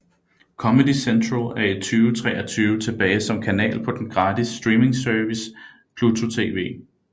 Comedy Central er i 2023 tilbage som kanal på den gratis streamingservice Pluto TV